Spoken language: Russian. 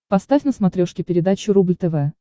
поставь на смотрешке передачу рубль тв